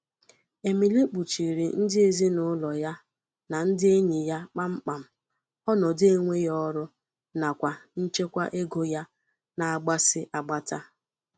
Emily kpuchiiri ndị ezinụlọ ya na ndị enyi ya kpam kpam ọnọdụ enweghị ọrụ nakwa nchekwa ego ya na-agbasi agbata.